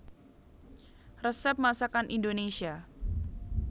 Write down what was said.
Resep Masakan Indonésia